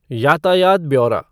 यातायात ब्यौरा